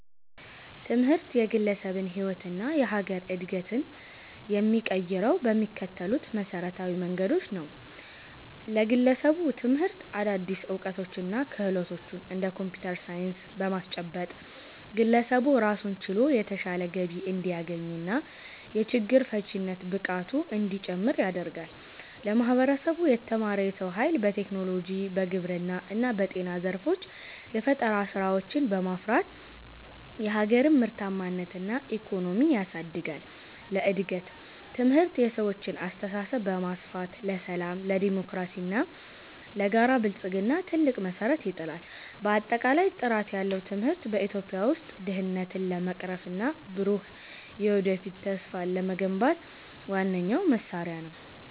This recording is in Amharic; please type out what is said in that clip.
ትምህርት የግለሰብን ሕይወትና የሀገርን ዕድገት የሚቀይረው በሚከተሉት መሠረታዊ መንገዶች ነው፦ ለግለሰብ፦ ትምህርት አዳዲስ ዕውቀቶችንና ክህሎቶችን (እንደ ኮምፒውተር ሳይንስ) በማስጨበጥ፣ ግለሰቡ ራሱን ችሎ የተሻለ ገቢ እንዲያገኝና የችግር ፈቺነት ብቃቱ እንዲጨምር ያደርጋል። ለማህበረሰብ፦ የተማረ የሰው ኃይል በቴክኖሎጂ፣ በግብርና እና በጤና ዘርፎች የፈጠራ ስራዎችን በማፍራት የሀገርን ምርታማነትና ኢኮኖሚ ያሳድጋል። ለእድገት፦ ትምህርት የሰዎችን አስተሳሰብ በማስፋት፣ ለሰላም፣ ለዴሞክራሲና ለጋራ ብልጽግና ትልቅ መሠረት ይጥላል። ባጠቃላይ፣ ጥራት ያለው ትምህርት በኢትዮጵያ ውስጥ ድህነትን ለመቅረፍና ብሩህ የወደፊት ተስፋን ለመገንባት ዋነኛው መሳሪያ ነው።